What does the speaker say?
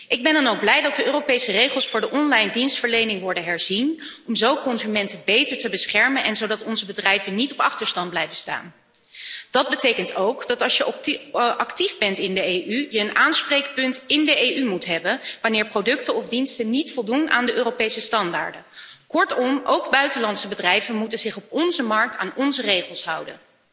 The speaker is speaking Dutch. Ik ben dan ook blij dat de Europese regels voor de onlinedienstverlening worden herzien zodat consumenten beter worden beschermd en onze bedrijven niet op achterstand blijven staan. Dat betekent ook dat als je actief bent in de EU, je een aanspreekpunt in de EU moet hebben wanneer producten of diensten niet voldoen aan de Europese normen. Kortom, ook buitenlandse bedrijven moeten zich op onze markt aan onze regels houden.